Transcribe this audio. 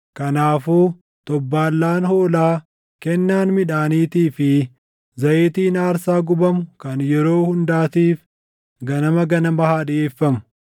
Kanaafuu xobbaallaan hoolaa, kennaan midhaaniitii fi zayitiin aarsaa gubamu kan yeroo hundaatiif ganama ganama haa dhiʼeeffamu.